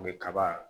U bɛ kaba